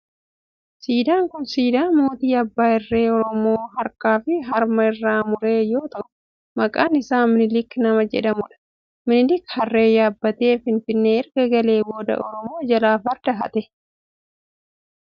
Siidaan kun siidaa mootii abbaa irree oromoo harkaa fi harma irraa mure yoo ta'u maqaan isaa minilik nama jedhamudha. Minilik harree yaabbatee finfinnee erga galee booda oromoo jalaa farda hate.